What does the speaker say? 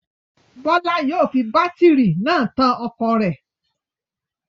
Bọ́lá yóò fi bátírí náà tan ọkọ̀ rẹ̀.